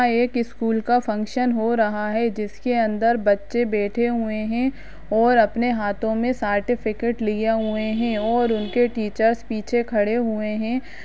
यहां एक स्कूल का फंक्शन हो रहा है जिसके अंदर बच्चे बैठे हुए है और अपने हाथो मे सर्टिफिकेट लिए हुए है और उनके टीचर्स पीछे खड़े हुए है।